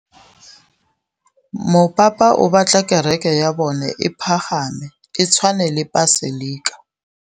Mopapa o batla kereke ya bone e pagame, e tshwane le paselika.